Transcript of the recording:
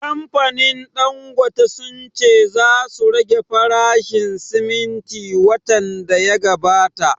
Kamfanin Dangote sun ce za su rage farashin siminti watan da ya gabata